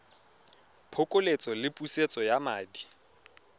phokoletso le pusetso ya madi